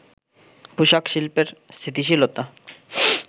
পোশাক শিল্পের স্থিতিশীলতা